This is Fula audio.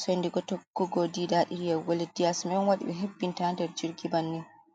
soide tokkugo didaɗi yahugo lesdi yaasi man on waɗi be hebbinta nder jirgi bannin.